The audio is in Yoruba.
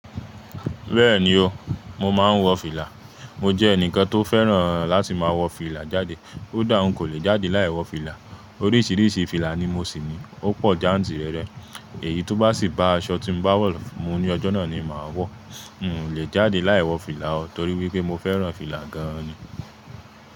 Bẹ́ẹ̀ni o, mo máa ń wọ fìlà. Mo jẹ́ ẹnìkan tó fẹ́ràn láti máa wọ fìlà jáde. Koda hùn kò lè jáde láì wọ fìlà. Oríṣiríṣi fìlà ni mo sì ni. Ó pọ̀ jáǹtì rẹrẹ. Èyí tó bá sì bá aṣọ tí n bá wọ̀ mú ní ọjọ́ náà ni màá wọ̀. N ò lè jáde láì wọ fìlà o torí wípé mo fẹ́ràn fìlà gan-an ni.